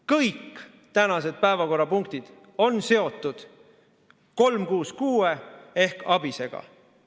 Kõik tänased päevakorrapunktid on seotud eelnõuga 366 ehk ABIS‑ega.